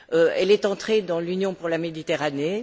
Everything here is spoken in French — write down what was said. Elle est entrée dans l'Union pour la Méditerranée.